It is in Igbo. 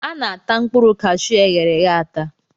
A na-ata mkpụrụ cashuu eghereghe ata.